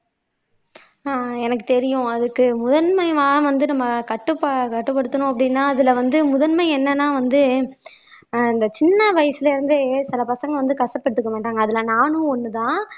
அஹ் எனக்கு தெரியும் அதுக்கு முதன்மை வந்து நம்ம கட்டுப்ப கட்டுப்படுத்தணும் அப்படின்னா அதுல வந்து முதன்மை என்னன்னா வந்து ஆஹ் இந்த சின்ன வயசுல இருந்தே சில பசங்க வந்து கசப்பு எடுத்துக்கமாட்டாங்க அதுல நானும் ஒண்ணுதான்